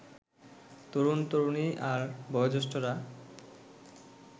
তরুণ-তরুণী আর বয়োজ্যেষ্ঠরা